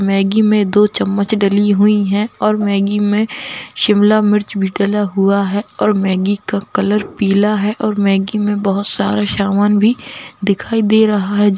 Maggi में दो चमच डली हुई है और मैगी में शिमला मिर्च भी डला हुआ है और मैगी का कलर पीला है और मैगी में बोहोत सारा सामान भी दिखाई दे रहा है।